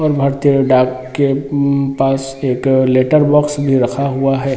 और भारतीय डाक के उम पास एक लेटर बॉक्स भी रखा हुआ है।